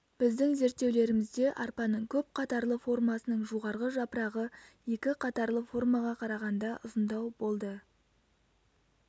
біздің зерттеулерімізде арпаның көп қатарлы формасының жоғарғы жапырағы екі қатарлы формаға қарағанда ұзындау болды